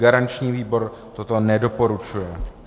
Garanční výbor toto nedoporučuje.